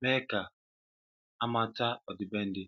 méé ka amata ọdịbendị.